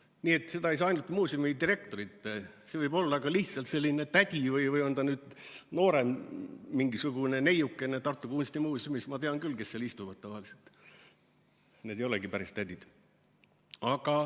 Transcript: Nii et see ei olene ainult muuseumidirektorist, võib olla ka lihtsalt selline tädi, või on ta noorem, mingisugune neiukene Tartu Kunstimuuseumis – ma tean küll, kes seal istuvad tavaliselt, need ei olegi päris tädid.